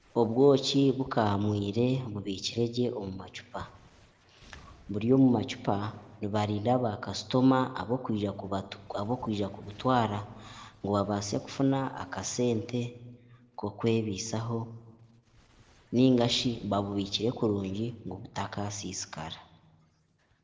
Obwoki bukamwiire bubikire gye omu macupa. Buri omu macupa nibarinda ba kasitoma abokwija kubutwara ngu babaase okufuna akasente k'okwebisaho ningashi babubikire kurungi ngu butakasisikara.